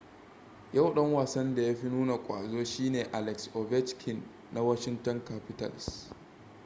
yau dan wasan da ya fi nuna ƙwazo shi ne alex ovechkin na washinton capitals